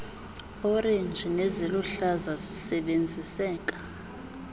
orenji neziluhlaza zisebenziseka